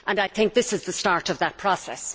I think this is the start of that process.